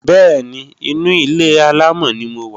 Bẹ́ẹ̀ni, inu ilé-àlámọ̀ ni mo wà